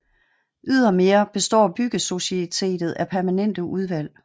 Ydermere består Byggesocietetet af permanente udvalg